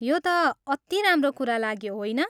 यो त अति राम्रो कुरा लाग्यो, होइन?